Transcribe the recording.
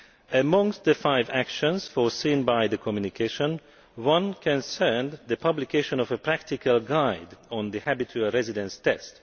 Amongst the five actions foreseen by the communication, one concerned the publication of a practical guide on the Habitual Residence Test.